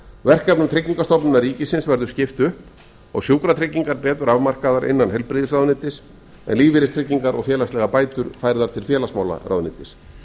verkefnum tryggingastofnunar ríkisins áður skipt upp og sjúkratryggingar betur afmarkaðar innan heilbrigðisráðuneytisins en lífeyristryggingar og félagslegar bætur færðar til félagsmálaráðuneytis